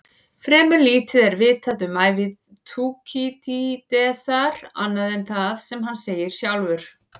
Fremur lítið er vitað um ævi Þúkýdídesar annað en það sem hann segir sjálfur.